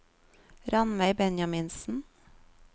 Rannveig Benjaminsen